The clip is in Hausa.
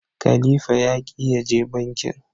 khalifa ya ki ya je bankin.